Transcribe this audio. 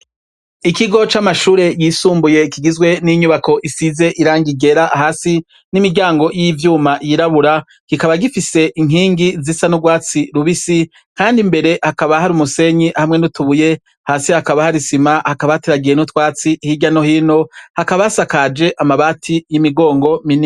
Ikigo c'amashure yisumbuye kigizwe n'inyubako isize irangi ryera hasi, n'imiryango y'ivyuma yirabura kikaba gifise inkingi zisa n'urwatsi rubisi, kandi imbere hakaba hari umunsenyi hamwe n'utubuye, hasi hakaba hari isima hakaba hateragiye n'utwatsi hirya no hino hakaba hasakaje amabati y'imigongo minini.